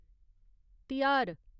तिहार